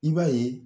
I b'a ye